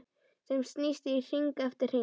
Sem snýst hring eftir hring.